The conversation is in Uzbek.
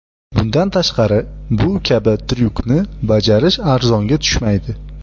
Bundan tashqari, bu kabi tryukni bajarish arzonga tushmaydi.